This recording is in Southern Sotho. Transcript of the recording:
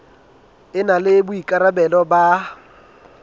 e na le boikarabelo ba